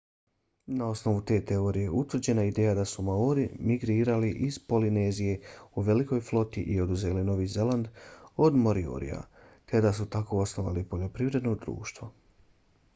na osnovu te teorije utvrđena je ideja da su maori migrirali iz polinezije u velikoj floti i oduzeli novi zeland od moriorija te da su tako osnovali poljoprivredno društvo